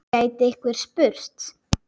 gæti einhver spurt.